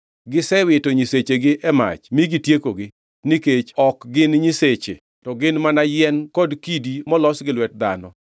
Gisewito nyisechegi e mach mi gitiekogi, nikech ne ok gin nyiseche to ne gin mana yien kod kidi molos gi lwet dhano.